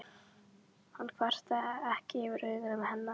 Hann kvartaði ekki yfir augum hennar.